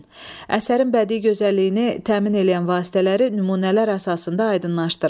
Əsərin bədii gözəlliyini təmin eləyən vasitələri nümunələr əsasında aydınlaşdırın.